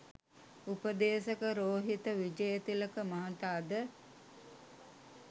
උපදේශක රෝහිත විජයතිලක මහතා ද